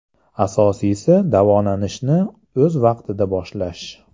Asosiysi davolanishni o‘z vaqtida boshlash!